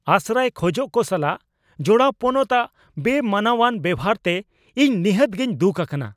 ᱟᱥᱨᱟᱭ ᱠᱷᱚᱡᱚᱜ ᱠᱚ ᱥᱟᱞᱟᱜ ᱡᱚᱲᱟᱣ ᱯᱚᱱᱚᱛ ᱟᱜ ᱵᱮᱼᱢᱟᱱᱚᱣᱟᱱ ᱵᱮᱣᱦᱟᱨ ᱛᱮ ᱤᱧ ᱱᱤᱦᱟᱹᱛ ᱜᱤᱧ ᱫᱩᱠ ᱟᱠᱟᱱᱟ ᱾